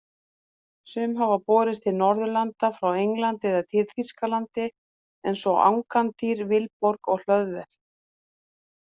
Sum hafa borist til Norðurlanda frá Englandi eða Þýskalandi eins og Angantýr, Vilborg og Hlöðver.